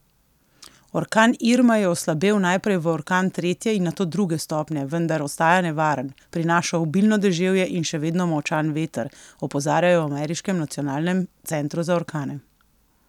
Orkan Irma je oslabel najprej v orkan tretje in nato druge stopnje, vendar ostaja nevaren, prinaša obilno deževje in še vedno močan veter, opozarjajo v ameriškem nacionalnem centru za orkane.